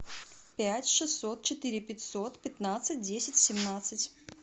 пять шестьсот четыре пятьсот пятнадцать десять семнадцать